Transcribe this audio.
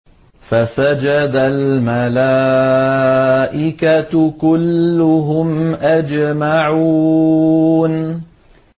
فَسَجَدَ الْمَلَائِكَةُ كُلُّهُمْ أَجْمَعُونَ